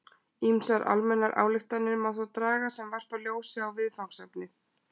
Ýmsar almennar ályktanir má þó draga sem varpa ljósi á viðfangsefnið.